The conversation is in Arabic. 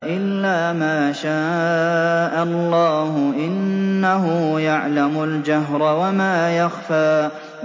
إِلَّا مَا شَاءَ اللَّهُ ۚ إِنَّهُ يَعْلَمُ الْجَهْرَ وَمَا يَخْفَىٰ